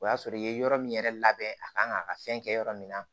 O y'a sɔrɔ i ye yɔrɔ min yɛrɛ labɛn a kan k'a ka fɛn kɛ yɔrɔ min na